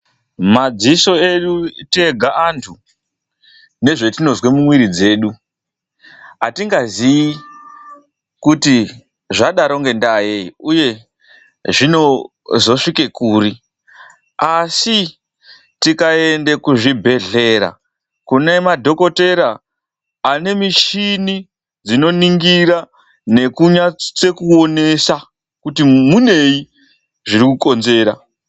Madziso edu tega antu nezvatinozwa mumwiri dzedu, atingazii kuti zvadaro ngendaa yei uye zvinozosvika kuri, asi tikaende kuzvibhedhlera kunemadhokodheya anemuchini dzinoningira nekunase kuonesa kuti munei zviri kukonzera.